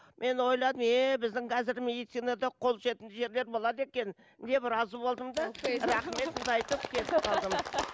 мен ойладым еее біздің қазіргі медицинада қол жетімді жерлер болады екен деп разы болдым да рахметімді айтып кетіп қалдым